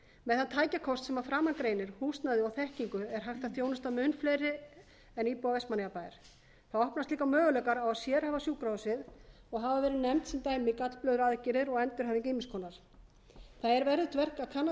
með þann tækjakost sem að framan greinir húsnæði og þekkingu er hægt að þjónusta mun fleiri en íbúa vestmannaeyjabæjar þá opnast líka möguleikar á að sérhæfa sjúkrahúsið og hafa verið nefnd sem gallblöðruaðgerðir og endurhæfing ýmiss konar það er verðugt verk að kanna